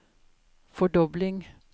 fordobling